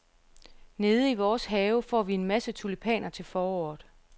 Nede i vores have får vi en masse tulipaner til foråret.